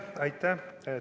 Aitäh!